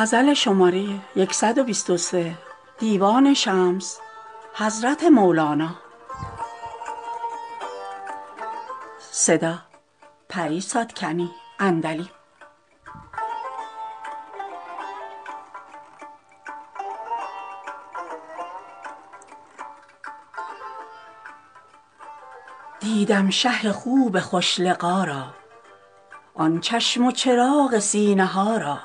دیدم شه خوب خوش لقا را آن چشم و چراغ سینه ها را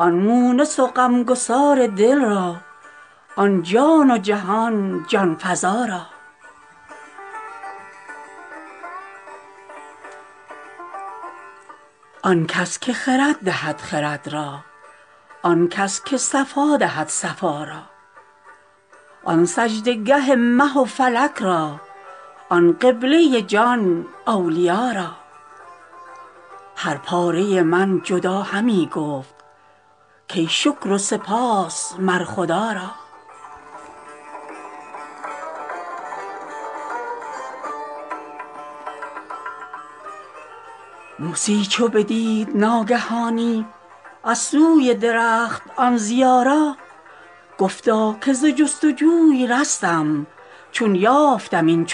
آن مونس و غمگسار دل را آن جان و جهان جان فزا را آن کس که خرد دهد خرد را آن کس که صفا دهد صفا را آن سجده گه مه و فلک را آن قبله جان اولیا را هر پاره من جدا همی گفت کای شکر و سپاس مر خدا را موسی چو بدید ناگهانی از سوی درخت آن ضیا را گفتا که ز جست و جوی رستم چون یافتم این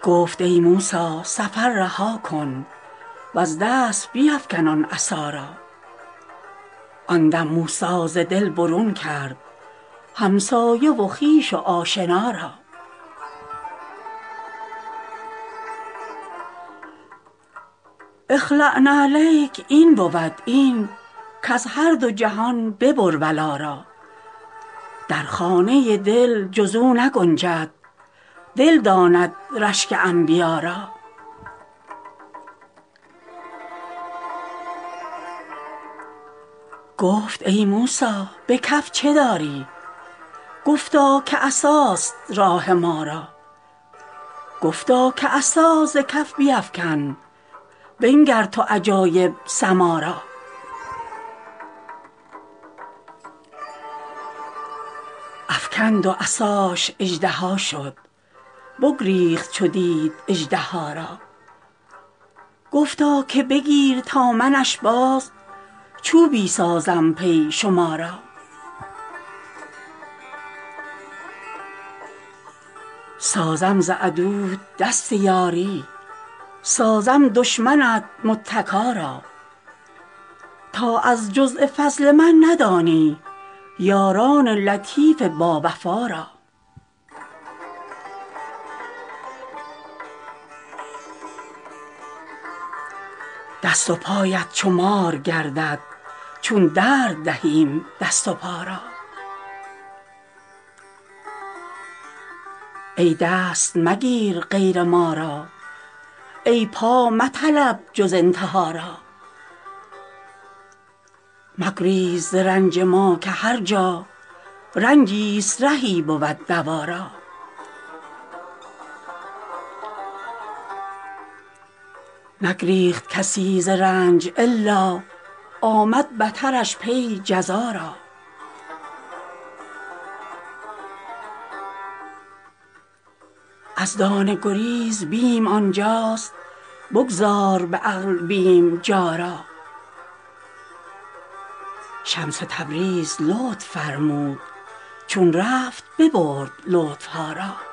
چنین عطا را گفت ای موسی سفر رها کن وز دست بیفکن آن عصا را آن دم موسی ز دل برون کرد همسایه و خویش و آشنا را اخلع نعلیک این بود این کز هر دو جهان ببر ولا را در خانه دل جز او نگنجد دل داند رشک انبیا را گفت ای موسی به کف چه داری گفتا که عصاست راه ما را گفتا که عصا ز کف بیفکن بنگر تو عجایب سما را افکند و عصاش اژدها شد بگریخت چو دید اژدها را گفتا که بگیر تا منش باز چوبی سازم پی شما را سازم ز عدوت دست یاری سازم دشمنت متکا را تا از جز فضل من ندانی یاران لطیف باوفا را دست و پایت چو مار گردد چون درد دهیم دست و پا را ای دست مگیر غیر ما را ای پا مطلب جز انتها را مگریز ز رنج ما که هر جا رنجیست رهی بود دوا را نگریخت کسی ز رنج الا آمد بترش پی جزا را از دانه گریز بیم آن جاست بگذار به عقل بیم جا را شمس تبریز لطف فرمود چون رفت ببرد لطف ها را